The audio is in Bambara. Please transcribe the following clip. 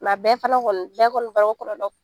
a bɛɛ fana kɔni bɛɛ kɔni b'a dɔn